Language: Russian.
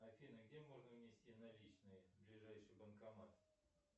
афина где можно внести наличные ближайший банкомат